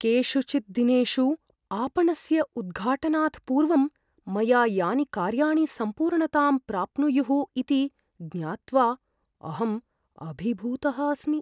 केषुचित् दिनेषु आपणस्य उद्घाटनात् पूर्वं मया यानि कार्याणि सम्पूर्णतां प्राप्नुयुः इति ज्ञात्वा अहं अभिभूतः अस्मि।